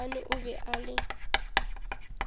maabane o be a le